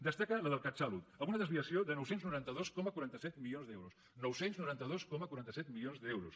destaca la del catsalut amb una desviació de nou cents i noranta dos coma quaranta set milions d’euros nou cents i noranta dos coma quaranta set milions d’euros